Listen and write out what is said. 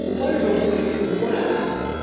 bunkondlo buni lesibutfola